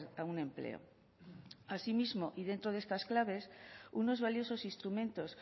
a un empleo asimismo y dentro de estas claves unos valiosos instrumentos